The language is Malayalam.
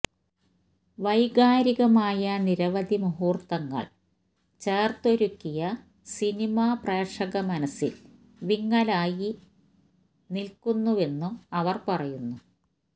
വൈകാരികമായ നിരവധി മുഹൂര്ത്തങ്ങള് ചേര്ത്തൊരുക്കിയ സിനിമ പ്രേക്ഷക മനസ്സില് വിങ്ങലായി നില്ക്കുന്നുവെന്നും അവര് പറയുന്നു